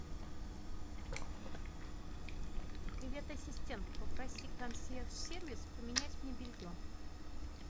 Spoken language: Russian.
привет ассистент попроси консьерж сервис поменять мне белье